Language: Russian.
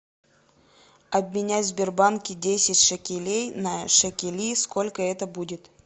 обменять в сбербанке десять шекелей на шекели сколько это будет